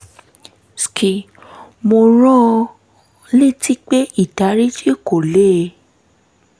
mo rán an létí pé ìdáríjì kò lè